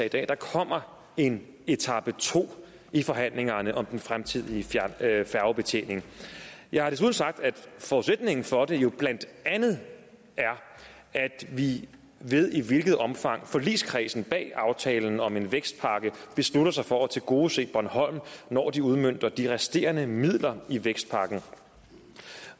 i dag at der kommer en etape to i forhandlingerne om den fremtidige færgebetjening jeg har desuden sagt at forudsætningen for det jo blandt andet er at vi ved i hvilket omfang forligskredsen bag aftalen om en vækstpakke beslutter sig for at tilgodese bornholm når de udmønter de resterende midler i vækstpakken